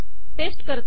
paste करते